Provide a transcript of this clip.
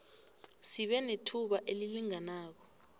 sibe nethuba elilinganako